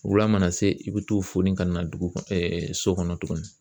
Wula mana se i bɛ t'o foni ka na dugu kɔnɔ so kɔnɔ tuguni.